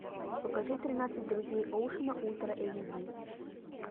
покажи тринадцать друзей оушена ультра эйч ди